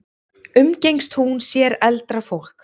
Umgengst hún sér eldra fólk?